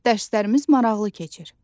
Dərslərimiz maraqlı keçir.